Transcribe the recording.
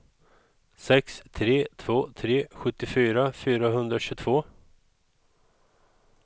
sex tre två tre sjuttiofyra fyrahundratjugotvå